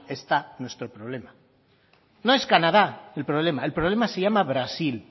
está nuestro problema no es canadá el problema el problema se llama brasil